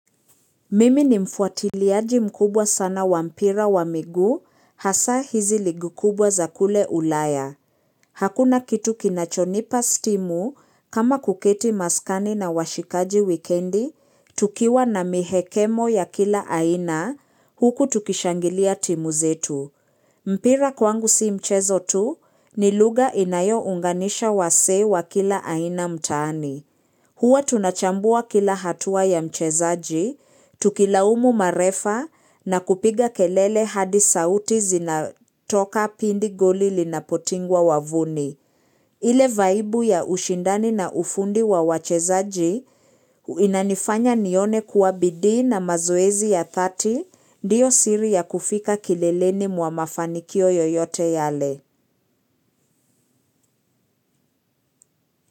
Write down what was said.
Mimi ni mfuatiliaji mkubwa sana wa mpira wa miguu hasa hizi ligi kubwa za kule ulaya. Hakuna kitu kinachonipa stimu kama kuketi maskani na washikaji wikendi tukiwa na mihekemo ya kila aina huku tukishangilia timu zetu. Mpira kwangu si mchezo tu ni lugha inayo unganisha wasee wa kila aina mtaani. Huwa tunachambua kila hatua ya mchezaji, tukilaumu marefa na kupiga kelele hadi sauti zinatoka pindi goli lina potingwa wavuni. Ile vaibu ya ushindani na ufundi wa wachezaji inanifanya nione kuwa bidii na mazoezi ya dhati ndio siri ya kufika kileleni mwa mafanikio yoyote yale.